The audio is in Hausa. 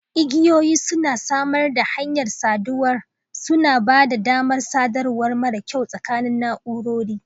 Igiyoyi suna samar da hanyar sadarwa, suna ba da damar sadarwa mara kyau tsakanin na'urori.